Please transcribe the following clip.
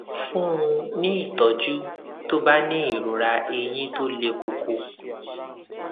fún un ní ìtójú tó bá ní ìrora eyín tó le koko